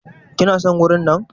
Kina son wurin nan?